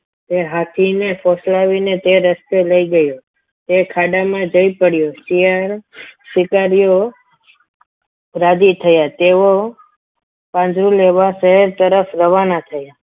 એ હાથીને ફોસલાવીને તે રસ્તે લઈ ગયો તે ખાડામાં જઈ પડ્યો શિયાળ શિકારીઓ રાજી થયા તેઓ પાંજરું લેવા શહેર તરફ રવાના થયા.